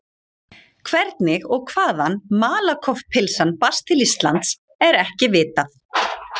Hvernig og hvaðan Malakoff-pylsan barst til Íslands er ekki vitað.